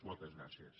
moltes gràcies